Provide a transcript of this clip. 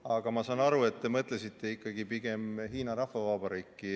Aga ma saan aru, et te mõtlesite ikkagi pigem Hiina Rahvavabariiki.